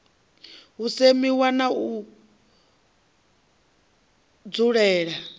u semiwa na u dzulela